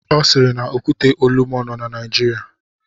Ọ siiri na Okwute Olumo nọ na Naijiria.